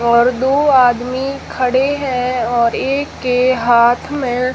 और दो आदमी खड़े हैं और एक के हाथ में--